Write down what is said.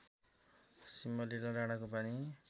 सिंहलिला डाँडाको पानी